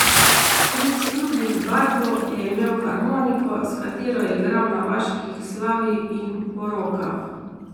Stric Ludvik Barbo je imel harmoniko, s katero je igral na vaških slavjih in porokah.